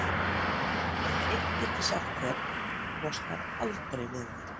En eitt get ég sagt þér: Þú losnar aldrei við mig.